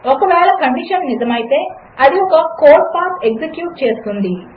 ఒకవేళకండిషన్నిజమైతే అదిఒకకోడ్పాత్ఎక్సిక్యూట్చేస్తుంది